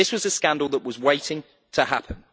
This was a scandal that was waiting to happen.